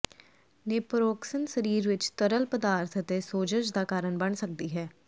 ਨੇਪੋਰੋਕਸਨ ਸਰੀਰ ਵਿੱਚ ਤਰਲ ਪਦਾਰਥ ਅਤੇ ਸੋਜ਼ਸ਼ ਦਾ ਕਾਰਨ ਬਣ ਸਕਦੀ ਹੈ